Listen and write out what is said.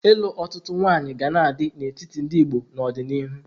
Ịlụ otutu nwaanyị ga na-adị n'etiti ndị Igbo n'ọdịnihu.